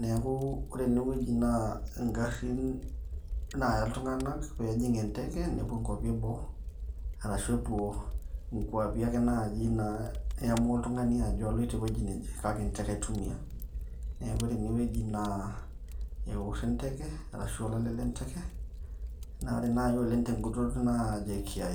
Neaku kore enewueji naa ingarin naaya iltung'ana pee ejing' enteke peepuo inkwapi e boo arashu epuo ake inkwapi naaji naa niamua oltung'ani ajo aloito ewueji naje kake enteke ake aitumia. neaku kore enewueji naa eor enteke ashu olale le nteke naa kore naajinte nguton naa JKIA